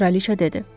kraliça dedi.